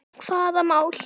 Hvaða mál?